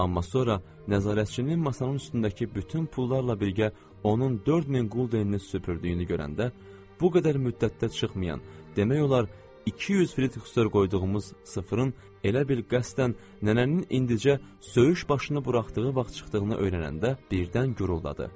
Amma sonra nəzarətçinin masanın üstündəki bütün pullarla birgə onun 4000 quldenini süpürdüyünü görəndə, bu qədər müddətdə çıxmayan, demək olar, 200 Fritzdor qoyduğumuz sıfırın elə bil qəsdən nənənin indicə söyüş başını buraxdığı vaxt çıxdığını öyrənəndə birdən gürüldadı.